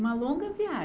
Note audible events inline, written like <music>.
Uma longa <unintelligible>